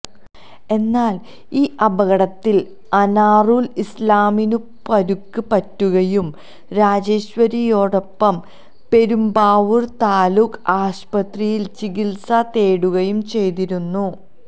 എന്നാല് ഈ അപകടത്തില് അനാറുല് ഇസ്ലാമിനും പരുക്ക് പറ്റുകയും രാജേശ്വരിയോടൊപ്പം പെരുമ്പാവൂര് താലൂക്ക് ആശുപത്രിയില് ചികിത്സ തേടുകയും ചെയ്തിരുന്നു